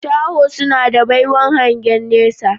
Shaho suna da baiwan hangen nesa